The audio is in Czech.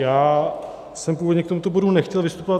Já jsem původně k tomuto bodu nechtěl vystupovat.